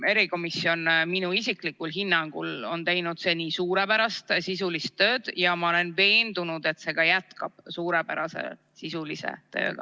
See komisjon on minu isiklikul hinnangul teinud suurepärast sisulist tööd ja ma olen veendunud, et see komisjon ka jätkab suurepärast sisulist tööd.